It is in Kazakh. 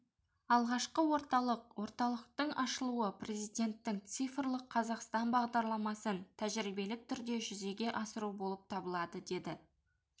алғашқы орталық орталықтың ашылуы президентінің цифрлық қазақстан бағдарламасын тәжірибелік түрде жүзеге асыру болып табылады деді